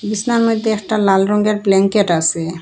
বিসনার মদ্যে একটা লাল রঙ্গের ব্ল্যাংকেট আসে।